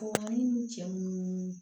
Ɔ ni cɛ munnu